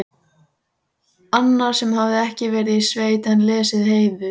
Annar sem hafði ekki verið í sveit en lesið Heiðu